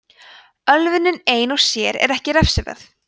ölvunin ein og sér er ekki refsiverð